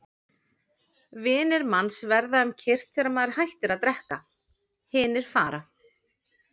Vinir manns verða um kyrrt þegar maður hættir að drekka, hinir fara.